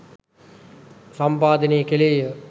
සම්පාදනය කෙළේය